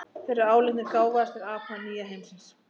Þeir eru álitnir gáfaðastir apa nýja heimsins.